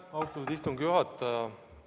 Austatud istungi juhataja!